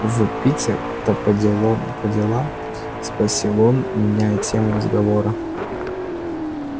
в питер-то по делом по делам спросил он меняя тему разговора